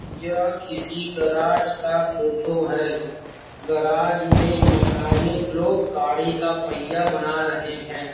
यह किसी गेैराज का फोटो है | गेैराज में मैकेनिक लोग गाड़ी का पहिया बना रहे हैं|